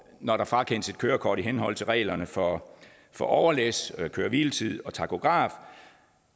når der frakendes et kørekort i henhold til reglerne for for overlæs køre hvile tid og takograf